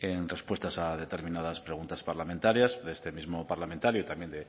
en respuestas a determinadas preguntas parlamentarias de este mismo parlamentario y también